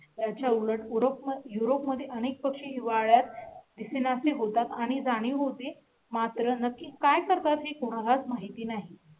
याच्या उलट उर्फ yourope मध्ये अनेक पक्षी हिवाळ्यात दिसेनासे होतात आणि जाणीव होती मात्र नक्की काय करतात हे कोणा लाच माहिती नाही.